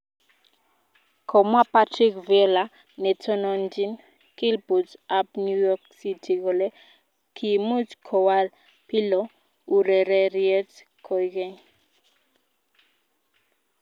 Komwa Patrick Vieira netononjin kilput ab new york city kole kiimuch kowal Pirlo urereriet koigeny.